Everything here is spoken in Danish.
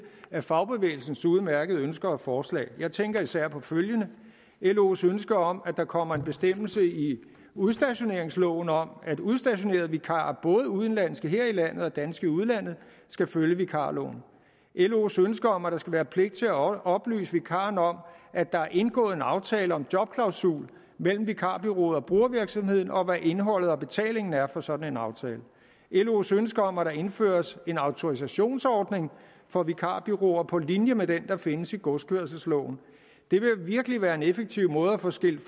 af fagbevægelsens udmærkede ønsker og forslag jeg tænker især på følgende los ønske om at der kommer en bestemmelse i udstationeringsloven om at udstationerede vikarer både udenlandske her i landet og danske i udlandet skal følge vikarloven los ønske om at der skal være pligt til at oplyse vikaren om at der er indgået en aftale om jobklausul mellem vikarbureauet og brugervirksomheden og hvad indholdet og betalingen er for sådan en aftale los ønske om at der indføres en autorisationsordning for vikarbureauer på linje med den der findes i godskørselsloven det vil virkelig være en effektiv måde at få skilt